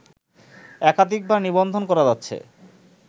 একাধিকবার নিবন্ধন করা যাচ্ছে